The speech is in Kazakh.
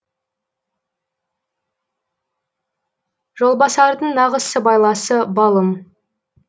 жолбасардың нағыз сыбайласы балым